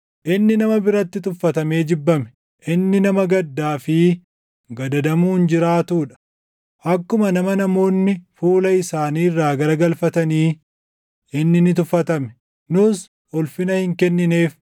Inni nama biratti tuffatamee jibbame; inni nama gaddaa fi gadadamuun jiraatuu dha. Akkuma nama namoonni fuula isaanii irraa garagalfatanii, inni ni tuffatame; nus ulfina hin kennineef.